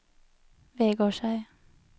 Vegårshei